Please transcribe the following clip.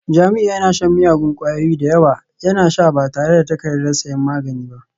Jamiu yana shan miyagun kwayoyi da yawa, yana sha ba tare da takardar sayan magani ba